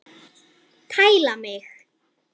Tæla mig!